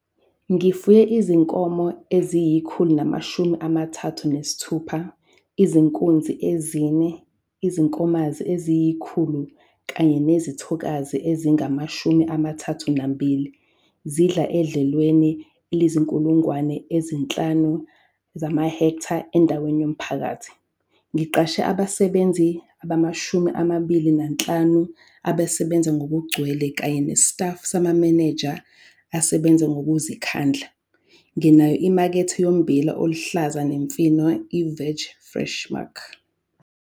Ngifuye izinkomo ezingu-136- izinkunzi ezine, izinkomanzi ziyi-100 kanye nezithokazi ezingama-32 zidla edlelweni elingu-5000 ha endaweni yomphakathi. Ngiqashe abasebenzi abangu-25 abasebenza ngokugcwele kanye nesitafu samamenenja asebenza ngokuzikhandla. Nginayo imakethe yombila oluhlaza nemifino i-Veg Fresh Mark.